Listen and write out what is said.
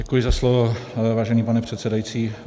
Děkuji za slovo, vážený pane předsedající.